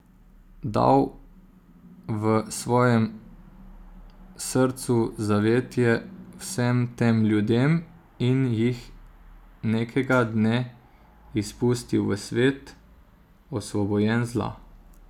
Dal v svojem srcu zavetje vsem tem ljudem in jih nekega dne izpustil v svet, osvobojen zla.